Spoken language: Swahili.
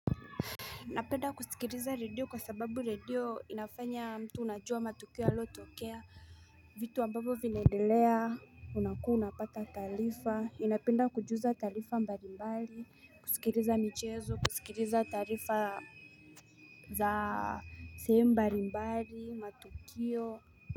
Napenda kusikiliza redio kwa sababu redio inafanya mtu unajua matukio yaliyotokea, vitu ambavyo vinaendelea, unakuwa unapata taarifa, nnapenda kujuza taarifa mbalimbali, kusikiliza michezo, kusikiliza taarifa za sehemu mbalimbali, matukio.